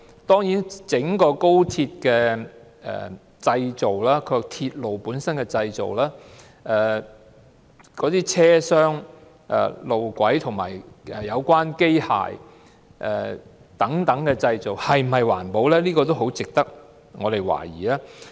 對於整條高鐵的建造、鐵路本身的製造、車廂、路軌和有關機械等製造是否環保，這點很值得市民懷疑。